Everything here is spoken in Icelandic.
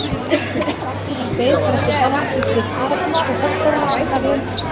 Valdimar beið bara eftir samlíkingu við Paradís og höggorminn sem þar leyndist.